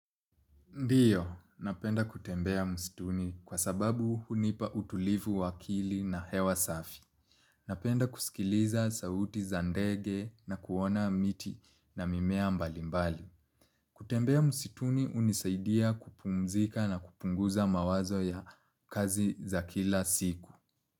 Ndiyo, napenda kutembea msituni kwa sababu hunipa utulivu wa akili na hewa safi. Napenda kusikiliza sauti za ndege na kuona miti na mimea mbalimbali. Kutembea msituni hunisaidia kupumzika na kupunguza mawazo ya kazi za kila siku.